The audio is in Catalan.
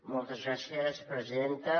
moltes gràcies presidenta